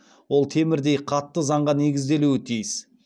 ол темірдей қатты заңға негізделуі тиіс